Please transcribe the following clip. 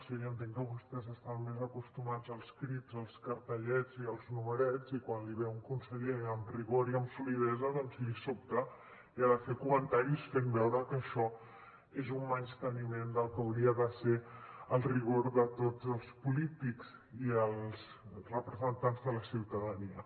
jo ja entenc que vostès estan més acostumats als crits als cartellets i als numerets i quan li ve un conseller amb rigor i amb solidesa doncs li sobta i ha de fer comentaris fent veure que això és un menysteniment del que hauria de ser el rigor de tots els polítics i els representants de la ciutadania